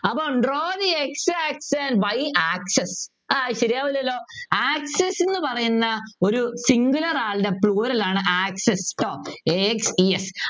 അപ്പൊ Draw the x axis and y axis ആഹ് ശരിയാവൂല്ലല്ലോ axis ന്നു പറയുന്ന ഒരു singular ആളുടെ plural ആണ് axes ട്ടോ a x e s